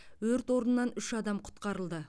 өрт орнынан үш адам құтқарылды